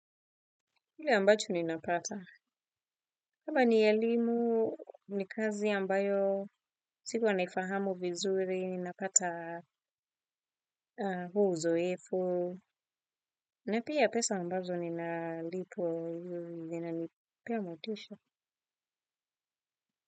Hili ambacho ninapata. Labda niyelimu, ni kazi ambayo, siku naifahamu vizuri, ninapata huu uzoefu. Na pia pesa ambazo ninalipwa hivyo, hivyo vinanipea motisha.